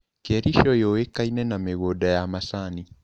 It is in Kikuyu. Kericho yũĩkaine na mĩgũnda ya macani.